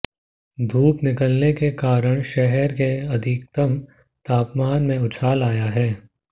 धूप निकलने के कारण शहर के अधिकतम तापमान में उछाल आया है